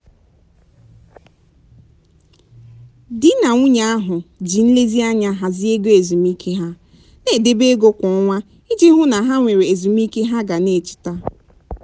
di na nwunye ahụ ji nlezianya hazie ego ezumike ha na-edebe ego kwa ọnwa iji hụ na ha nwere ezumike ha ga na-cheta.